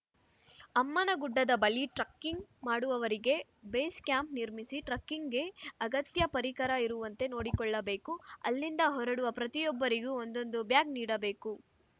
ಅಮ್ಮನಗುಡ್ಡದ ಬಳಿ ಟ್ರಕ್ಕಿಂಗ್‌ ಮಾಡುವವರಿಗೆ base camp ನಿರ್ಮಿಸಿ ಟ್ರಕ್ಕಿಂಗ್‌ಗೆ ಅಗತ್ಯ ಪರಿಕರ ಇರುವಂತೆ ನೋಡಿಕೊಳ್ಳಬೇಕು ಅಲ್ಲಿಂದ ಹೊರಡುವ ಪ್ರತಿಯೊಬ್ಬರಿಗೂ ಒಂದೊಂದು ಬ್ಯಾಗ್‌ ನೀಡಬೇಕು